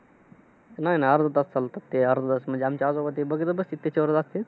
नाही, नाही अर्धा तास चालतात ते. अर्धा तास. म्हणजे आमचे आजोबा ते बघतच बसतेत त्याच्यावर असतात.